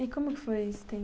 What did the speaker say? E como foi esse tempo?